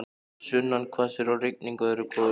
Sunnan hvassviðri og rigning öðru hvoru í dag.